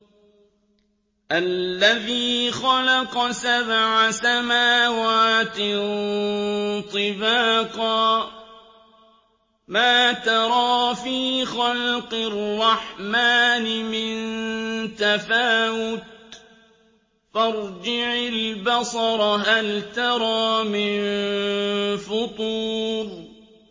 الَّذِي خَلَقَ سَبْعَ سَمَاوَاتٍ طِبَاقًا ۖ مَّا تَرَىٰ فِي خَلْقِ الرَّحْمَٰنِ مِن تَفَاوُتٍ ۖ فَارْجِعِ الْبَصَرَ هَلْ تَرَىٰ مِن فُطُورٍ